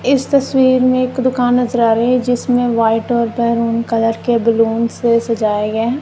इस तस्वीर में एक दुकान नजर आ रही है जिसमें व्हाइट और मैरून कलर के बैलून से सजाया गया है।